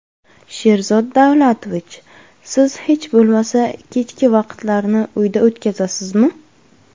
Sherzod Davlatovich, siz hech bo‘lmasa, kechki vaqtlarni uyda o‘tkazasizmi?